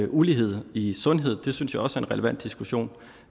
ulighed i sundhed det synes jeg også er en relevant diskussion